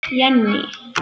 Jenný